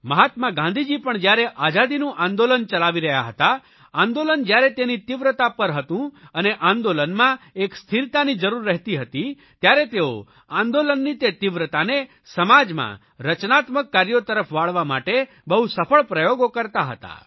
મહાત્મા ગાંધીજી પણ જયારે આઝાદીનું આંદોલન ચલાવી રહ્યા હતા આંદોલન જયારે તેની તીવ્રતા પર હતું અને આંદોલનમાં એક સ્થિરતાની જરૂર રહેતી હતી ત્યારે તેઓ આંદોલનની તે તીવ્રતાને સમાજમાં રચનાત્મક કાર્યો તરફ વાળવા માટે બહુ સફળ પ્રયોગો કરતા હતા